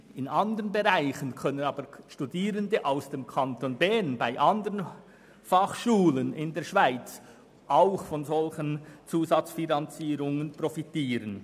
In anderen Bereichen können jedoch Studierende aus dem Kanton Bern an anderen Fachschulen in der Schweiz auch von solchen Zusatzfinanzierungen profitieren.